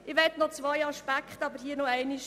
Ich möchte hier noch zwei Aspekte betonen.